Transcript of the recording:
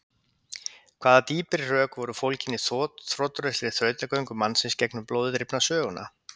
hvaða dýpri rök voru fólgin í þrotlausri þrautagöngu mannsins gegnum blóði drifna söguna?